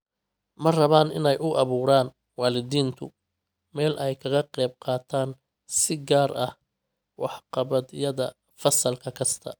Ma rabaan inay u abuuraan waalidiintu meel ay kaga qayb qaataan si gaar ah waxqabadyada fasalka kasta.